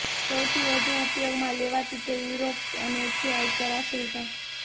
સૌથી વધુ ઉપયોગમાં લેવાતી તે યુરોપ અને છે ઉત્તર આફ્રિકા